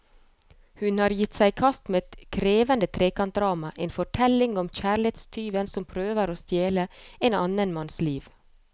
Hun har gitt seg i kast med et krevende trekantdrama, en fortelling om kjærlighetstyven som prøver å stjele en annen manns liv.